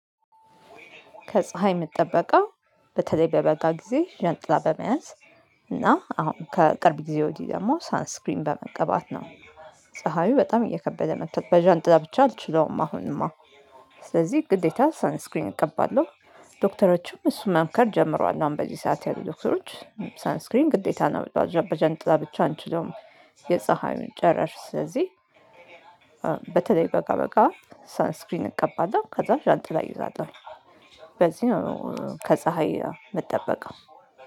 ከፀሀይ ምጠበቀው በተለይ በበጋ ጊዜ ዣንጣ በመያዝ እና አሁን ከቅርብ ጊዜ ወዲህ ደግሞ ሳን ስክሪን በመቀባት ነው ፀሀዬ በጣም እየከበደ መቷል በዣንጥላ ብቻ አልችለውም አሁንማ። ስለዚህ ግዴታ ሳን ስክሪን እቀባለሁ። ዶክተሮችም እሱን መምከር ጀምረዋል አሁን በዚህ ሰዓት ያሉ ዶክተሮች ሳን ስክሪን ግዴታ ነው በዣን በዣንጥላ ብቻ አንችለውም። የፀሀዩን ጨረር ስለዚህ በተለይ በጋ በጋ ሳን ስክሪን እቀባለሁ ከዛ ዣንጥላ እይዛለሁ። በዚህ ነው ከፀሀይ ምጠበቀው